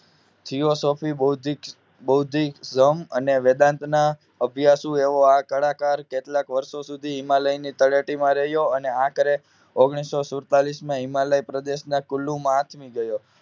Philosopher બૌદ્ધિક બૌદ્ધિક વેદાંતનો અભ્યાસુ એવો આ કલાકાર કેટલાક વર્ષો સુધી હિમાલય તળેટીમાં રહ્યો અને આખરે ઓગણીસોસુડતાળીસ માં હિમાલયના પ્રદેશના કુલુ માં આથમી ગયો